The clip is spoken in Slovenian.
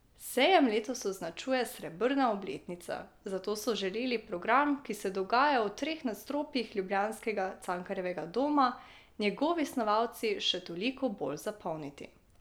Sejem letos označuje srebrna obletnica, zato so želeli program, ki se dogaja v treh nadstropjih ljubljanskega Cankarjevega doma, njegovi snovalci še toliko bolj zapolniti.